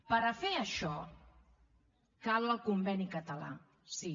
per a fer això cal el conveni català sí